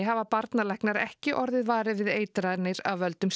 hafa barnalæknar ekki orðið varir við eitranir af völdum